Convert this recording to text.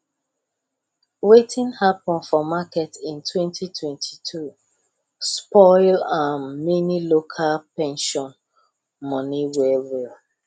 wetin happen for market in 2022 spoil um many local pension money well well